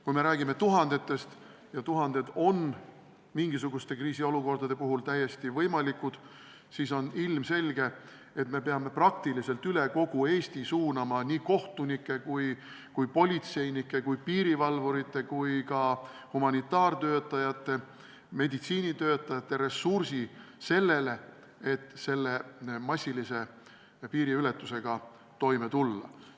Kui me räägime tuhandetest – ja tuhanded on mingisuguste kriisiolukordade puhul täiesti võimalikud –, siis on ilmselge, et me peame üle kogu Eesti suunama praktiliselt kogu kohtunike, politseinike, piirivalvurite ja ka humanitaartöötajate ja meditsiinitöötajate ressursi sellele, et massilise piiriületusega toime tulla.